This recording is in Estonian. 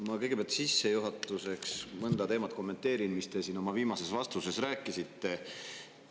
Ma kõigepealt sissejuhatuseks kommenteerin mõnda teemat, mis te siin oma viimases vastuses rääkisite.